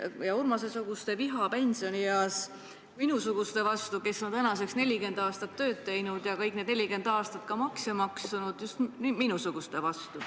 See suurendab Urmase-suguste viha pensionieas minusuguste vastu, kes on tänaseks 40 aastat tööd teinud ja kõik need 40 aastat ka makse maksnud – just minusuguste vastu.